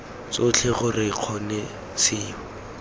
tsotlhe gore lo kgone seo